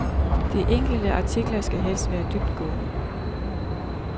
De enkelte artikler skal helst være dybtgående.